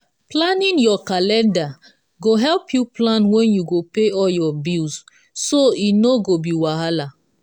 planning your calender go help you plan when you go pay all your bill so e no go be wahala.